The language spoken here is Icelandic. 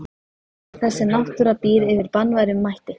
En þessi náttúra býr yfir banvænum mætti.